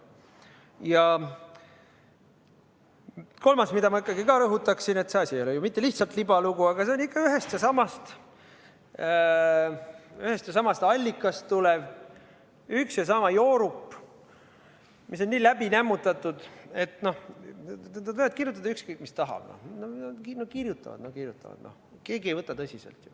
Ja kolmandaks rõhutaksin ikkagi seda, et see asi ei ole ju mitte lihtsalt libalugu, vaid ühest ja samast allikast tulev üks ja sama joorup, mis on nii läbi nämmutatud, et nad võivad kirjutada ükskõik, mida tahavad – kirjutavad, no kirjutavad –, aga keegi ei võta seda tõsiselt.